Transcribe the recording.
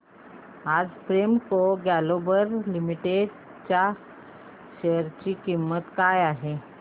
आज Premco global limited च्या share ची किंमत काय आहे